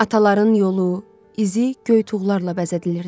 Ataların yolu, izi göy tuğlarla bəzədilirdi.